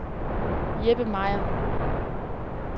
Jeppe Meier